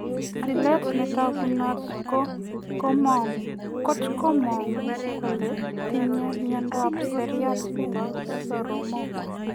Seliit na tagunot kot komanguu kole tinye miondoop siryat nepo soromok.